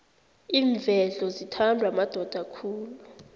iinvedlo zithandwa madoda khulu